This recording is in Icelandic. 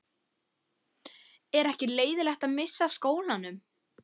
Er ekki leiðinlegt að missa af skólanum?